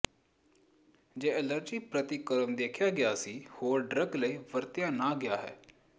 ਜੇ ਐਲਰਜੀ ਪ੍ਰਤੀਕਰਮ ਦੇਖਿਆ ਗਿਆ ਸੀ ਹੋਰ ਡਰੱਗ ਲਈ ਵਰਤਿਆ ਨਾ ਗਿਆ ਹੈ